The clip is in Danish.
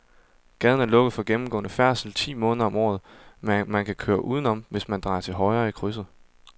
Gaden er lukket for gennemgående færdsel ti måneder om året, men man kan køre udenom, hvis man drejer til højre i krydset.